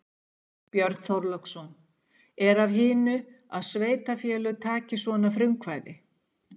Björn Þorláksson: Er af hinu að sveitarfélög taki svona frumkvæði?